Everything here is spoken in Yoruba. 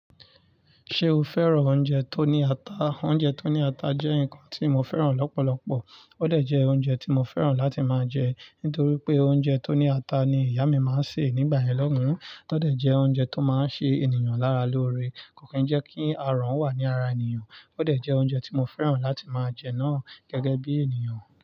Ṣé o fẹ́ràn oúnjẹ tó ní ata? Oúnjẹ tó ní ata jẹ́ nǹkan tí mo fẹ́ràn lọ́pọ̀lọpọ̀. Ó de jẹ́ oúnjẹ tí mo fẹ́ràn láti máa jẹ nítorí pé oúnjẹ tó ní ata ni ìyá mi máa ń sè nígbà yẹn loùn. Ó de jẹ́ oúnjẹ tó máa ń ṣe ènìyàn lára lóore, kò kí ń jẹ́ kí aràn wà ní ara ènìyàn. Ó dà jẹ́ oúnjẹ tí mo fẹ́ràn láti máa jẹ náà gẹ́gẹ́ bí ènìyàn.